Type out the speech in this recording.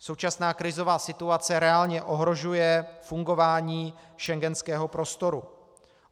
Současná krizová situace reálně ohrožuje fungování schengenského prostoru.